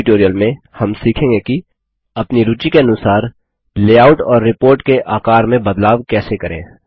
इस ट्यूटोरियल में हम सीखेंगे कि अपनी रूचि के अनुसार लेआउट और रिपोर्ट के आकार में बदलाव कैसे करें